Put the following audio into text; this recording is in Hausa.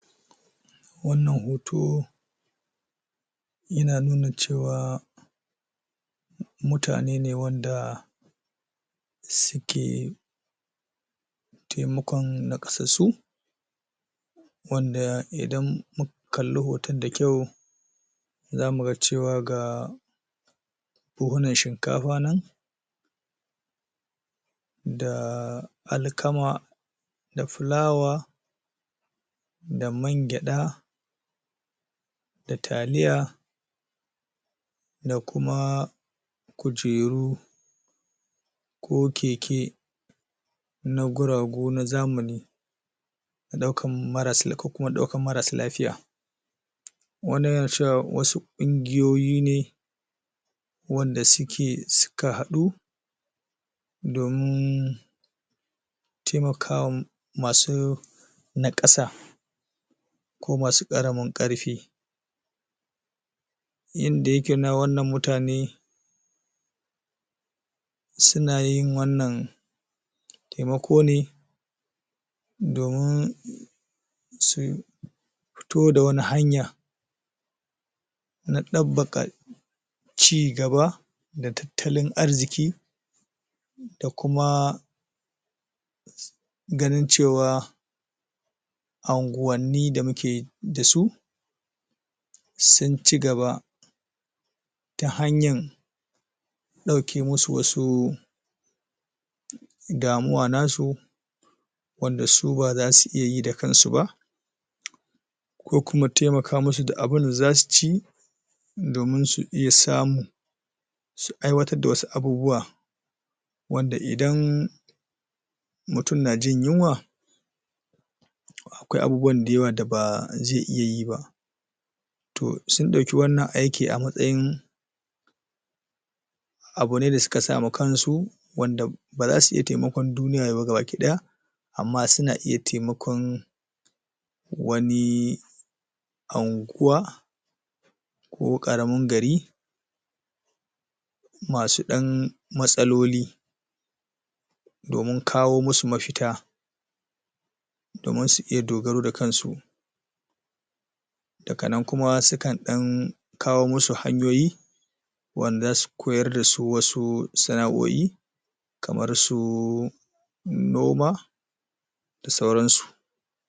Wannan Hoto Yana nuna cewa Mutane ne wanda Sike Taimakon na ƙasan su! Wanda idan mu Kalli hoton da kyau Za muga cewa ga.. Buhunnan shinkafa nan Dah.. Alkama Da fulawa Da man gyaɗa Da taliya Da kumaaa Kujeru Ko keke Na guragu na zamani Na daukan kuma daukan marassa lafiya Wasu ƙungiyoyi ne Wanda sukeee suka haɗu Dominn Taimaka wa um Masu Naƙasa Ko masu karamin karfi Yanda yake nuna wannan mutane Suna yin wannan Taimako ne Dominn.. Su.. Pito da wani hanya Cigaba Da Tattalin arziƙi Da kumaa Ganin cewa Anguwanni da muke Dasu.. Sun cigaba Ta hanyan ɗauke masu wasu Damuwa nasu Wanda su bazasu iya yida kansu bah Ko kuma taimaka masu da abinda zasu ci Domin su iya samu Su aiwatar da wasu abubuwa Wanda idann Mutum najin yunwa! Akwai abubuwan dayawa da bazaiiya yibah Toh, sun ɗauki wannan aiki a matsayin Abune da suka sama kansu Wanda Bazasu iya taimakon duniya baki ɗaya Amma suna iya taimakon... Wanii Anguwa Ko karamin gari! Masu ɗan Matsaloli Domin kawo masu mafita Domin su iya dogaro da kansu Daga nan sukan ɗan Kawo masu hanyoyi Wanda zasu Koyar dasu wasu.. Sanao'i Kamar su... Noma. Da sauran su